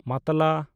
ᱢᱟᱛᱞᱟ